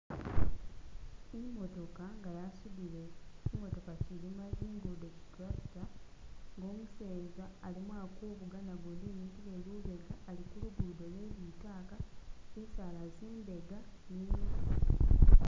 Imootoka inga yasudile chi mootoka chilima zingudo chi tractor nga umuseza alimo ali kuvuga nagundi imikile lubega ali kulugudo lwe litaka bisaala zimbega.